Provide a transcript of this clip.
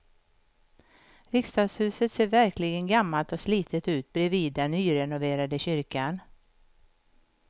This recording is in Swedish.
Riksdagshuset ser verkligen gammalt och slitet ut bredvid den nyrenoverade kyrkan.